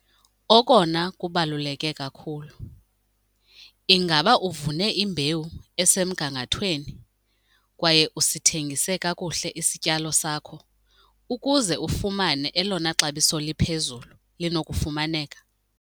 Okona kubaluleke kakhulu- Ingaba uvune imbewu esemgangathweni kwaye usithengise kakuhle isityalo sakho ukuze ufumane elona xabiso liphezulu linokufumaneka?